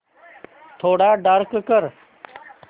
थोडा डार्क कर